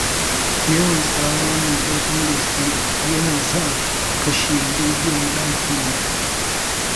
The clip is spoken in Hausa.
Yawan tsawa mai ƙarfin gaske, ya sa na kashe rediyon ɗakina.